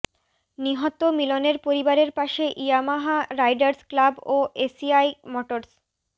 নিহত মিলনের পরিবারের পাশে ইয়ামাহা রাইডারস্ ক্লাব ও এসিআই মটরস্